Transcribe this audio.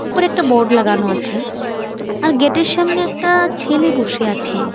উপরে একটা বোর্ড লাগানো আছে। আর গেটের এর সামনে একটা-আ ছেলে বসে আছে ।